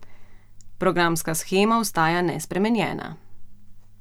Programska shema ostaja nespremenjena.